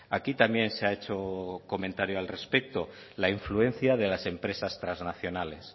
aquí también se ha hecho comentario al respecto la influencia de las empresas trasnacionales